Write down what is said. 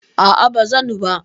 A'a ba zan ba.